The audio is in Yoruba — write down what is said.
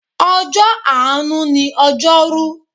Ọjọ́ àánú ni ojoru.